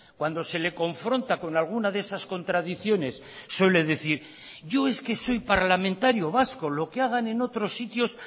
cuando se le confronta con alguna de esas contradicciones suele decir yo es que soy parlamentario vasco lo que hagan en otros sitios